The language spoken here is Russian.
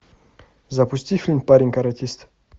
запусти фильм парень каратист